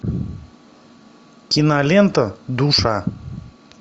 кинолента душа